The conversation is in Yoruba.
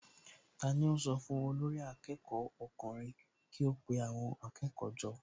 Tani ó sọ fún olórí akẹ́kọ̀ọ́ ọkùnrin kí ó pe àwọn akẹ́kọ̀ọ́ jọ?